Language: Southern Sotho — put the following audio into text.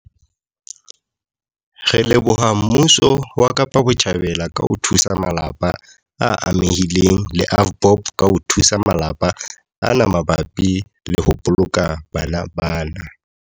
Re leboha mmuso wa Kapa Botjhabela ka ho thusa malapa a amehileng le AVBOB ka ho thusa malapa ana mabapi le ho boloka bana bana.